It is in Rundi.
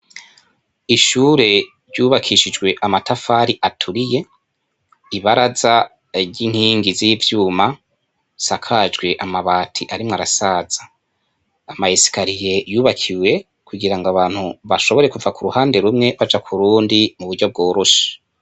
Ishure ryubakishijwe amatafari aturiye, ibaraza z'inkingi z'ivyuma, risakajwe amabati ariko arasaba, ama esikariye yubakiwe kugira ngo abantu bashobore kuva kur'uhande rumwe baja k'urundi muburyo bworoshe.